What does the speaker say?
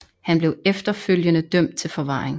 Han blev efterfølgede dømt til forvaring